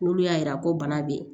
N'olu y'a yira ko bana be yen